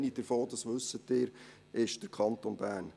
Eine davon ist, wie Sie wissen, der Kanton Bern.